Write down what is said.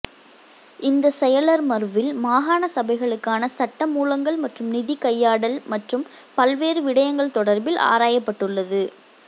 இந்தச் செயலர்மர்வில் மாகாண சபைகளுக்கான சட்டமூலங்கள் மற்றும் நிதி கையாடல் மற்றும் பல்வேறு விடயங்கள் தொடர்பில் ஆராயப்பட்டுள்ளது